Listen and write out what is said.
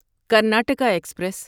Karnataka express